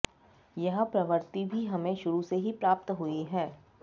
यह प्रवृत्ति भी हमें शुरू से ही प्राप्त हुयी है